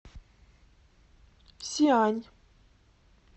сиань